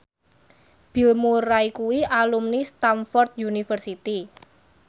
Bill Murray kuwi alumni Stamford University